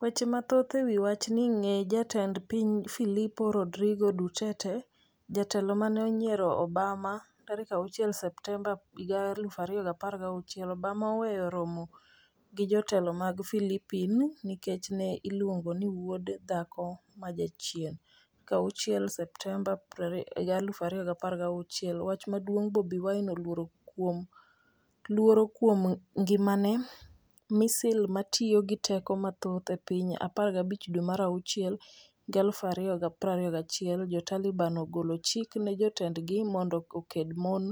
Weche mathoth ewi wachni Ng'e jatend piny Filipin Rodrigo Duterte, jatelo mane onyiero Obama6 Septemba 2016 Obama oweyo romo gi jatelo mar Filipin nikech ne iluongo ni "wuod dhako ma jachien"6 Septemba 2016 Wach maduong' Bobi Wine ' luoro kuom ngimane misil 'matiyo gi teko mathoth e piny' 15 dwe mar achiel 2021 Jo Taliban ogolo chik ne jotendgi mondo okend mon